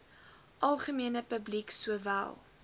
algemene publiek sowel